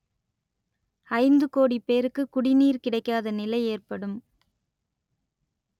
ஐந்து கோடி பேருக்கு குடிநீர் கிடைக்காத நிலை ஏற்படும்